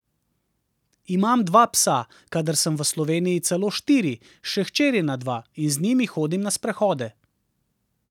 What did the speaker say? Imam dva psa, kadar sem v Sloveniji, celo štiri, še hčerina dva, in z njimi hodim na sprehode.